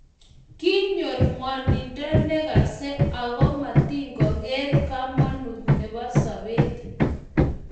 Kinyor gwonindo negase ago matigogeer kamanut nebo sobet